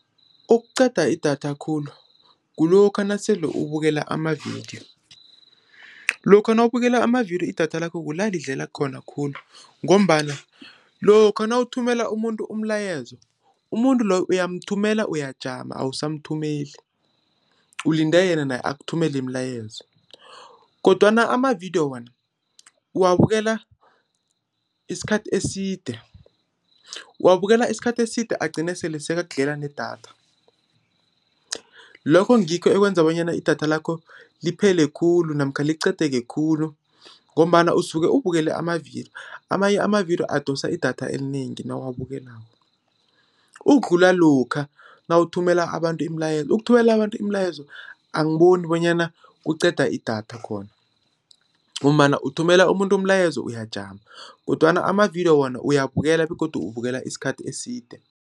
Okuqeda idatha khulu, kulokha nasele ukubukela amavidiyo. Lokha nawubukela amavidiyo idatha lakho kulidleka khona khulu, ngombana lokha nawuthumela umuntu umlayezo, umuntu loyo uyamthumela uyajama awusamthumeli, ulinde yena naye akuthumele imilayezo, kodwana amavidiyo wona, uwabukela isikhathi eside agcine sele sekakudlela nedatha. Lokho ngikho okwenza bonyana idatha lakho liphele khulu, namkha liqedeke khulu, ngombana usuke ubukele amavidiyo. Amanye amavidiyo adosa idatha elinengi nawabukelako, ukudlula lokha nawuthumela abantu imilayezo. Ukuthumela abantu imilayezo, angiboni bonyana kuqeda idatha khona, ngombana uthumela umuntu umlayezo iyajama, kodwana amavidiyo wona, uyabukela begodu ubukela isikhathi eside.